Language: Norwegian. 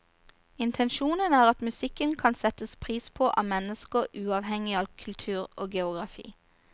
Intensjonen er at musikken kan settes pris på av mennesker uavhengig av kultur og geografi.